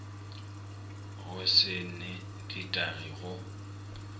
go se new ditagi go